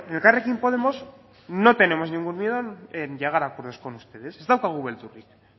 en elkarrekin podemos no tenemos ningún miedo en llegar a acuerdos con ustedes ez daukagu beldurrik